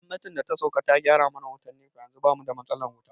Gwamnatin da ta sauƙa ta gyara mana wutan NEPA yanzu bamu da matsalar wuta